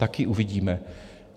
Taky uvidíme.